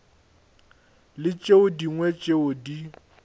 le tše dingwe tšeo di